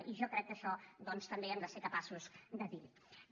i jo crec que això doncs també hem de ser capaços de dir ho